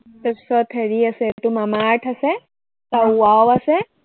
তাৰপিছত হেৰি আছে তোৰ মামা আৰ্থ আছে, আৰু ৱাও আছে।